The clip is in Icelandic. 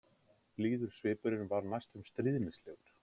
Blíður svipurinn var næstum stríðnislegur.